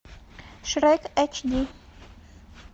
шрек эйч ди